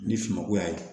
Ni sumanko y'a ye